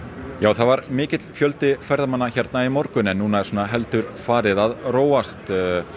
það var mikill fjöldi ferðamanna hérna í morgun en núna er svona heldur farið að róast